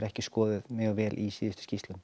ekki skoðuð mjög vel í síðustu skýrslu